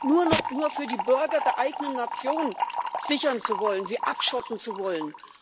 nur noch für die Bürger der eigenen Nation sichern zu wollen, sie abschotten zu wollen.